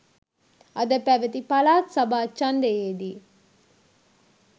අද පැවති පළාත් සභා ඡන්දයේ දී